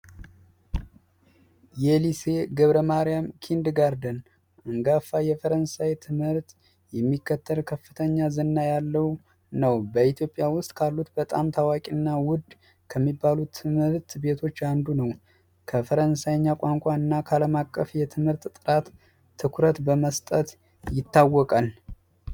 የሊሴ ገብረ ማርያም ኪንግ ጋርተን አንጋፋው የፈረንሳይ ትምህርት የሚከተል ከፍተኛ ዝና ያለው በኢትዮጵያ ውስጥ ካሉት በጣም ታዋቂና ውድ ከሚባሉት ትምህርት ቤቶች አንዱ ነው። ከፈረንሳይኛ ቋንቋና ካለማቀፍ የትምህርት ጥራት ትኩረት በመስጠት ይታወቃል።